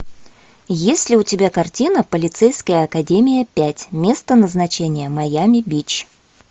есть ли у тебя картина полицейская академия пять место назначения майами бич